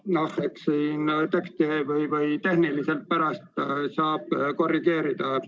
Eks seda teksti saab tehniliselt pärast korrigeerida.